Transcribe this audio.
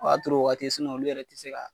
O y'a sɔrɔ o waati olu yɛrɛ tɛ se k'a